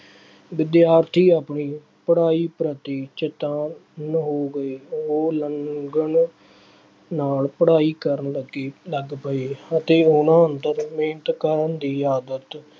ਵਿਦਿਆਰਥੀ ਆਪਣੀ ਪੜ੍ਹਾਈ ਪ੍ਰਤੀ ਚੇਤੰਨ ਹੋ ਗਏ। ਉਹ ਲਗਨ ਨਾਲ ਪੜ੍ਹਾਈ ਕਰਨ ਲੱਗੇ, ਲੱਗ ਪਏ ਅਤੇ ਉਹਨਾ ਅੰਦਰ ਮਿਹਨਤ ਕਰਨ ਦੀ ਆਦਤ